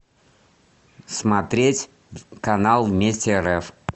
смотреть канал вместе рф